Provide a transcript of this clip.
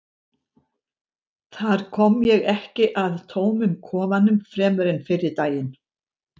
þar kom ég ekki að tómum kofanum fremur en fyrri daginn